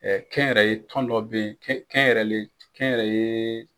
kɛn yɛrɛ ye tɔn dɔ bɛ yen kɛn kɛn yɛrɛ ye